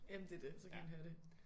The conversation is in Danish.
Jamen det det så kan han høre det